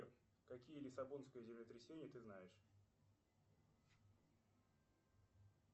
какие лиссабонское землетрясение ты знаешь